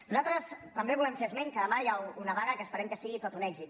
nosaltres també volem fer esment que demà hi ha una vaga que esperem que sigui tot un èxit